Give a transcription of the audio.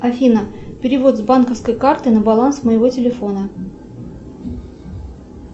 афина перевод с банковской карты на баланс моего телефона